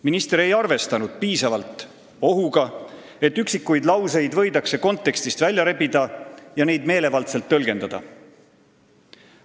Minister ei arvestanud piisavalt ohuga, et üksikuid lauseid võidakse kontekstist välja rebida ja neid meelevaldselt tõlgendada.